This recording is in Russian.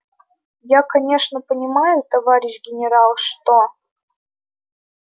я конечно понимаю товарищ генерал что